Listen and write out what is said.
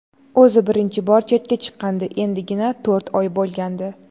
O‘zi birinchi bor chetga chiqqandi, endigina to‘rt oy bo‘lgandi.